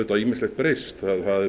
ýmislegt breyst